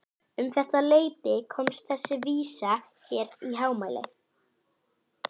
Um þetta leyti komst þessi vísa hér í hámæli